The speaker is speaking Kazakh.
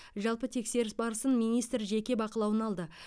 жалпы тексеріс барысын министр жеке бақылауына алды